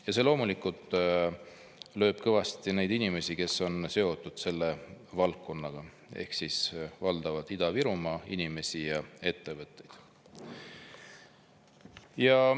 Ja see loomulikult lööb kõvasti neid inimesi, kes on seotud selle valdkonnaga, ehk siis valdavalt Ida-Virumaa inimesi ja ettevõtteid.